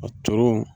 A toro